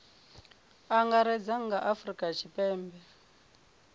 angaredza kha a afurika tshipembe